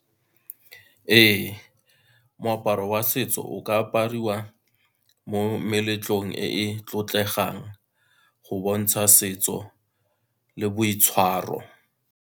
Ee, moaparo wa setso o ka apariwa mo meletlong e e tlotlegang, go bontsha setso le boitshwaro.